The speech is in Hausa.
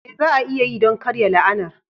Me za a iya yi don karya la'anar?